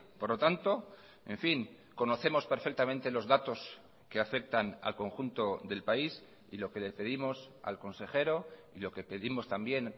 por lo tanto en fin conocemos perfectamente los datos que afectan al conjunto del país y lo que le pedimos al consejero y lo que pedimos también